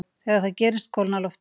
þegar það gerist kólnar loftið